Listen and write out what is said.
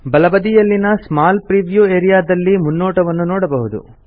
ಬಲಬದಿಯಲ್ಲಿನ small preview area ದಲ್ಲಿ ಮುನ್ನೋಟವನ್ನು ನೋಡಬಹುದು